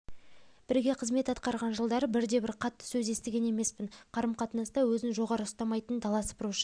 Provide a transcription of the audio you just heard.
бірге қызмет атқарған жылдары бірде-бір қатты сөз естіген емеспін қарым-қатынаста өзін жоғары ұстамайтын дала сыпырушы